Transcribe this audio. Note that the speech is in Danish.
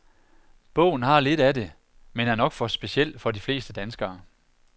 Bogen har lidt af det, men er nok for speciel for de fleste danskere.